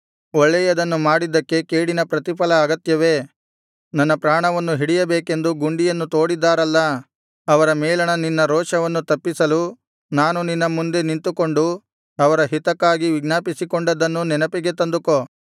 ಒಳ್ಳೆಯದನ್ನು ಮಾಡಿದ್ದಕ್ಕೆ ಕೇಡಿನ ಪ್ರತಿಫಲ ಅಗತ್ಯವೇ ನನ್ನ ಪ್ರಾಣವನ್ನು ಹಿಡಿಯಬೇಕೆಂದು ಗುಂಡಿಯನ್ನು ತೋಡಿದ್ದಾರಲ್ಲಾ ಅವರ ಮೇಲಣ ನಿನ್ನ ರೋಷವನ್ನು ತಪ್ಪಿಸಲು ನಾನು ನಿನ್ನ ಮುಂದೆ ನಿಂತುಕೊಂಡು ಅವರ ಹಿತಕ್ಕಾಗಿ ವಿಜ್ಞಾಪಿಸಿಕೊಂಡದ್ದನ್ನು ನೆನಪಿಗೆ ತಂದುಕೋ